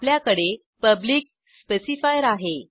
आपल्याकडे public specifier आहे